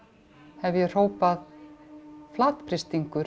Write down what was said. hef ég hrópað